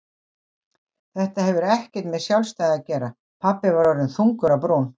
Þetta hefur ekkert með sjálfstæði að gera pabbi var orðinn þungur á brún.